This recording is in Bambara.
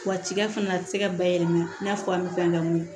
Wa tigɛ fana a tɛ se ka bayɛlɛma i n'a fɔ an bɛ fɛn kɛ mun ye